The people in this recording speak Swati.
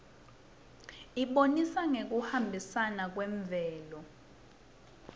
ibonisa ngekuhambisana kwemvelo